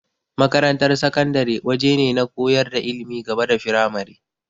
Makarantar sakandare waje ne na koyar da ilimin gaba da firamare.